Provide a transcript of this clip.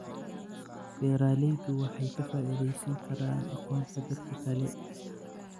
Beeraleydu waxay ka faa'iidaysan karaan aqoonta dadka kale.